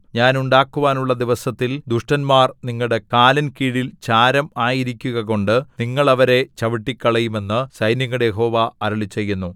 ഞാൻ ഉണ്ടാക്കുവാനുള്ള ദിവസത്തിൽ ദുഷ്ടന്മാർ നിങ്ങളുടെ കാലിൻ കീഴിൽ ചാരം ആയിരിക്കുകകൊണ്ടു നിങ്ങൾ അവരെ ചവിട്ടിക്കളയും എന്നു സൈന്യങ്ങളുടെ യഹോവ അരുളിച്ചെയ്യുന്നു